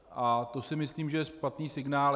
A to si myslím, že je špatný signál.